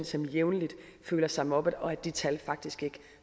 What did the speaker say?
som jævnligt føler sig mobbet og at de tal faktisk ikke